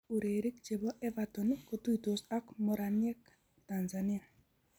Urerik che bo Everton kotuitos ak moraniek Tanzania